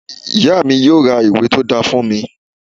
Ìyá mi yóò ra ìwé tó dáa fún mi